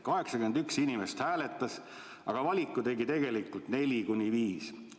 81 inimest hääletas, aga valiku tegi tegelikult ju 4–5 inimest.